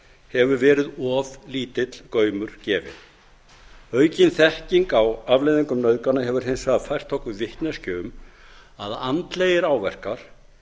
hefur verið of lítill gaumur gefinn aukin þekking á afleiðingum nauðgana hefur hins vegar fært okkur vitneskju um að andlegir áverkar